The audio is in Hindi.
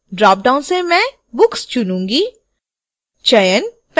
dropdown से मैं books चुनूंगी